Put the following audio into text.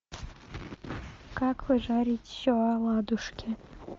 как пожарить оладушки